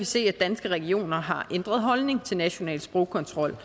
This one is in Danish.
se at danske regioner har ændret holdning til national sprogkontrol